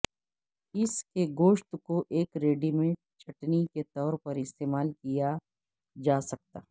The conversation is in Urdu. اس کے گوشت کو ایک ریڈی میڈ چٹنی کے طور پر استعمال کیا جا سکتا